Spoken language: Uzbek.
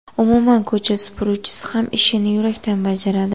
Umuman ko‘cha supuruvchisi ham ishini yurakdan bajaradi.